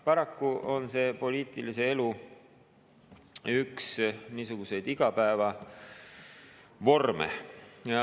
Paraku on see üks poliitilise elu igapäevavorme.